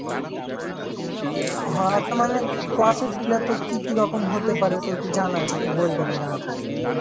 হ হ কোনো process গুলা তোর কি কি রকম হতে পারে তোর কি জানা আছে একটু বলতনা জানা থাকলে